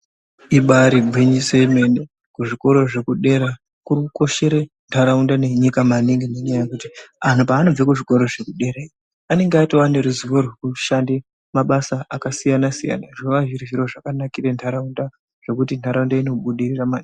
Ibari gwinyiso yemene kuzvikora zvekudera kuri kushire nharaunda nenyika maningi nendaa yekuti antu paanobva kuzvikora zvekudera anonga atova neruzivo rwekushande mabasa akasiyana-siyana. Zvinova zviri zviro zvakanakira nharaunda zvekuti nhaaunda inobudirira maningi.